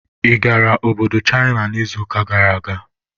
Ị gara Obodo China n'izuụka gara aga?